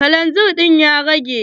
Kalanzir ɗin ya rage?